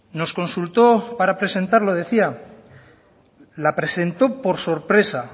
nos consultó para presentarlo decía la presentó por sorpresa